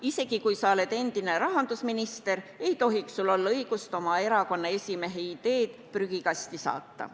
Isegi kui sa oled endine rahandusminister, ei tohiks sul olla õigust oma erakonna esimehe ideed prügikasti saata.